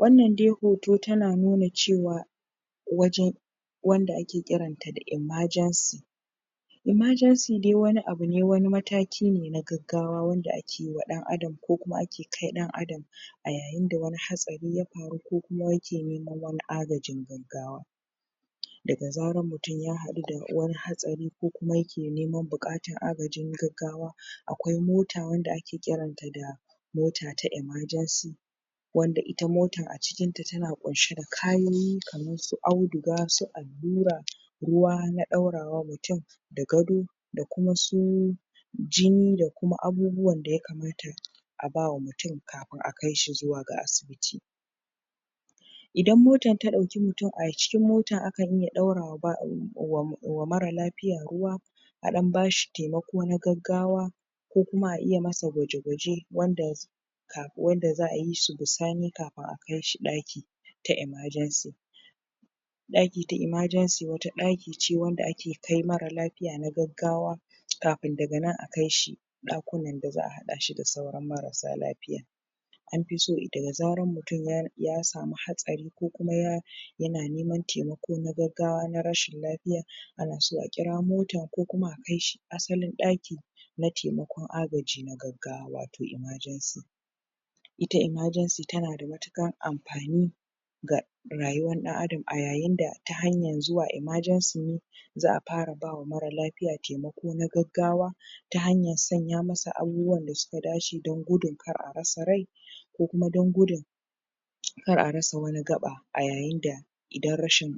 wannan dai hoto tana nuna cewa waje wanda ake kira emergency emergency dai wani abu ne wani mataki ne na gaggawa wanda ake wa ɗan ada kokuma aiki ake kai ɗan adam a yayin da wani hatsari ya faru ko kuma yake neman wani agajin gaggawa daga zarar hutun ya haɗu da wani hatsari ko kuma yake neman baƙatan agaji na gaggawa akwai mota wanda ake kiran ta da mota ta emergency wanda ita motan acikin ta tana ƙunshe da kayoyi kamar su audu su allura ruwa na ɗaura wa mutun da gado da kuma suu jini da kuma abubuwan daya kamata aba wa mutun ka fi akai shi zuwa ga asibiti idan mota ta ɗauki mutun a cikin motar akan iya ɗaura wa mara lafiya ruwa a ɗdan bashi taimako na gaggawa ko kuma a iya masa gwaje gwaje wanda wanda za'ayi su bisani kan akai shi ɗakin ta emergency vaki ta emergency wata ɗakii ce wanda ake kai mara lafiya na gaggawa kafin daga nan akai shi da za' haɗa shi da sauran marasa lafiya an fi so daga zaran mutun ya ya samu hatsari ko kuma ya yana neman taimako na gagga wa ko na rashin lafiya ana so akira mota ko kuma a kai shi asalin ɗaki na taimako agaji na gaggawa wato emergency ita emergency tana da matukan anfani ga rayuwan ɗan adam a yayinda ta hanyan zuwa emergency ne za' fara bawa mara lafiya taimako na gaggawa ta hanyan saya masa abubuwan dasuka dace don kar arasa rai ko kuma don gudun kar a rasa wani gaɓa a yayin da idan rashin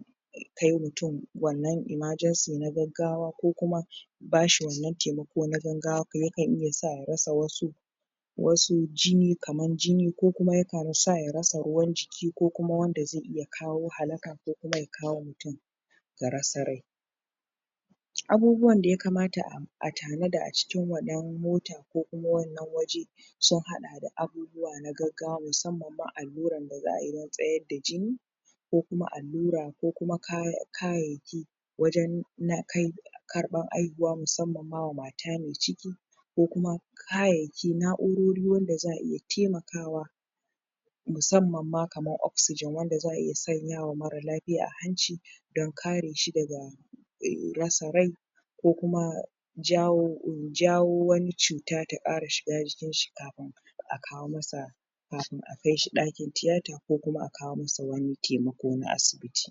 kai mutun wannan emergency na gaggawa ko kuma bashi wannan taimako na gangawa kuma yakan iya sa arasa wasu wasu jini kaman jini ko kuma yakan sa ya rasa ruwan ji ki ko kuma wanda zai iya kawo halaka ko kuma ya kawo mutun ga rasa rai abubuwan da ya kamata a tanada acikin wanan motan ko kuma wannan waje sun haɗa da abubuwa na gaggawa musam man alluran da za'ayi na tsayar da jini ko kuma allura ko kima kaya kayayyaki wajan na kai karɓan haihuwa musamma man mata mai ciki ko kuma kayayyaki, naurori wanda za'aiya taimakawa musamman ma kamar oxygen wanda za' iya sanya wa mara lafiya a hanci sdon kare shi daga rasa rai ko kuma jawo jawo wani cuta ta ƙara shiga jikin shi kafi akawo masa kafin a kai shi ɗakin tiyata ko kuma akawo masa wani taimako na asibiti